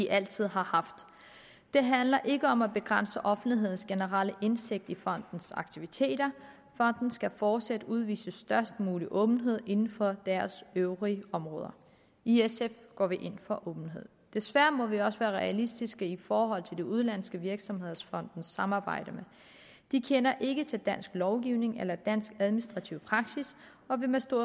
altid har haft det handler ikke om at begrænse offentlighedens generelle indsigt i fondenes aktiviteter fondene skal fortsat udvise størst mulig åbenhed inden for deres øvrige områder i sf går vi ind for åbenhed desværre må vi også være realistiske i forhold til de udenlandske virksomheder som fondene samarbejder med de kender ikke til dansk lovgivning eller dansk administrativ praksis og vil med stor